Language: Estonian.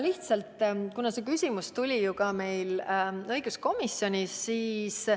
See küsimus oli ka meil õiguskomisjonis teemaks.